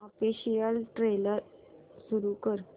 official trailer सुरू कर